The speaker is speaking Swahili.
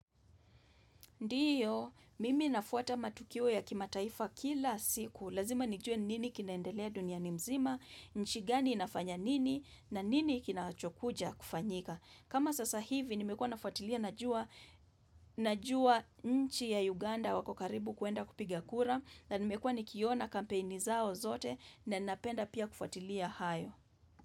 Ndiyo, mimi nafuata matukio ya kimataifa kila siku. Lazima nijue nini kinaendelea duniani mzima, nchi gani inafanya nini, na nini kinachokuja kufanyika. Kama sasa hivi, nimekua nafuatilia na jua nchi ya Uganda wako karibu kuenda kupigia kura, na nimekua nikiona kampeni zao zote, na napenda pia kufuatilia hayo.